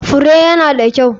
Fure ya na da kyau.